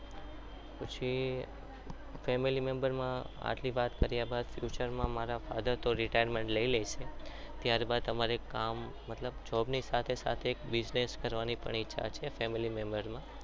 પછી family member માં આટલી વાત કર્યા બાદ future માં મારા father તો retirement લઈ લે છે ત્યારબાદ અમારે કામ મતલબ job ની સાથે સાથે business કરવાની પણ ઈચ્છા છે family member માં